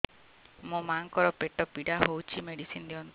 ମୋ ମାଆଙ୍କର ପେଟ ପୀଡା ହଉଛି ମେଡିସିନ ଦିଅନ୍ତୁ